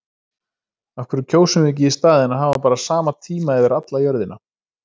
Af hverju kjósum við ekki í staðinn að hafa bara sama tíma yfir alla jörðina?